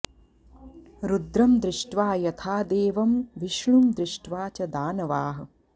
रुद्रं दृष्ट्वा यथा देवं विष्णुं दृष्ट्वा च दानवाः